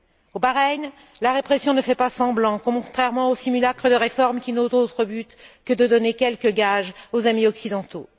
Au Bahreïn, la répression ne fait pas semblant, contrairement au simulacre de réformes qui n'ont d'autre but que de donner quelques gages aux amis occidentaux.